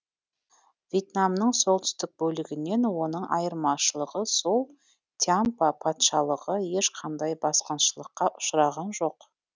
вьетнамның солтүстік бөлігінен оның айырмашылығы сол тьямпа патшалығы ешқандай басқыншылыққа ұшыраған жоқ